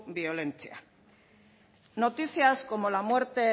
biolentziak noticias como la muerte